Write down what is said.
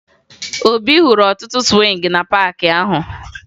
Obi hụrụ ọtụtụ sụwịngị na paakị ahụ